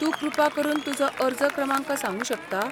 तूं कृपा करून तुजो अर्ज क्रमांक सांगूं शकता?